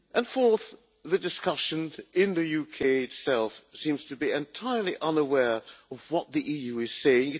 Fourth, the discussion in the UK itself seems to be entirely unaware of what the EU is saying.